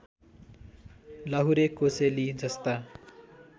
लाहुरे कोसेली जस्ता